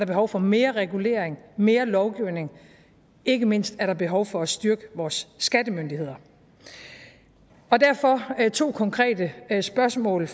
behov for mere regulering mere lovgivning og ikke mindst er der behov for at styrke vores skattemyndigheder derfor har jeg to konkrete spørgsmål